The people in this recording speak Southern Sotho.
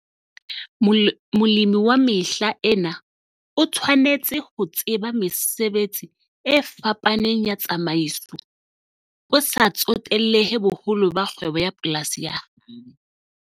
Molemi wa mehla ena o tshwanetse ho tseba mesebetsi e fapaneng ya tsamaiso, ho sa tsotellehe boholo ba kgwebo ya polasi ya hae.